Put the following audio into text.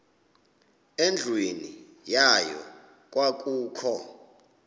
endlwini yayo kwakukho